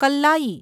Kallayi